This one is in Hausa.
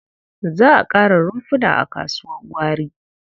Za a ƙara rumfuna a kasuwar gwari.